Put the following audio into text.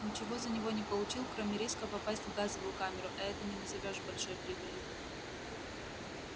ничего за него не получил кроме риска попасть в газовую камеру а это не назовёшь большой прибылью